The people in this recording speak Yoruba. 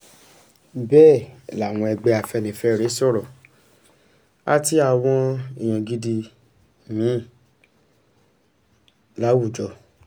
bẹẹ lawọn ẹgbẹ afẹnifẹre sọrọ ati awọn eyan gidi mi-in lawujọ